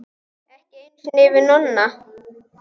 Ekki einu sinni fyrir Nonna.